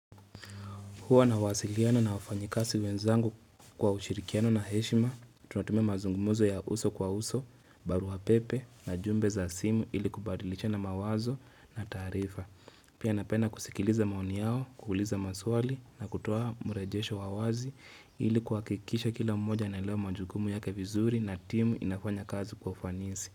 Huwa nawasiliana na wafanyikazi wenzangu kwa ushirikiano na heshima, tunatumia mazungumuzo ya uso kwa uso, barua pepe na jumbe za simu ili kubadilishana mawazo na taarifa. Pia napenda kusikiliza maoni yao, kuuliza maswali na kutoa mrejesho wa wazi ili kuhakikisha kila mmoja anaelewa majukumu yake vizuri na timu inafanya kazi kwa fanisi.